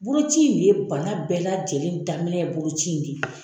Boloci in de ye bana bɛɛ lajɛlen daminɛ ye boloci in de ye.